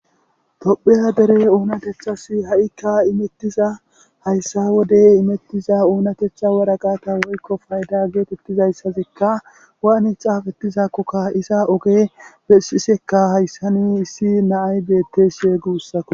topheya dere oonatethasi ha7ikka imettiza hayssa wodey imettiza oonatetha wara gaata woykko fayda geetettizayssazikka waanitha hafettizakkokka iza oge bessisekka hayssani issi naay beettes sheegi ussako